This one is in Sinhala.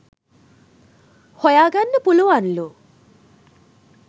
හොයා ගන්න පුළුවන් ලු.